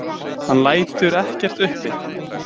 Hann lætur ekkert uppi.